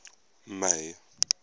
may